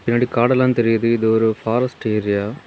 பின்னாடி காடெல்லாம் தெரியுது இது ஒரு ஃபாரஸ்ட் ஏரியா .